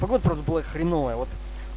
погода правда была хреновая вот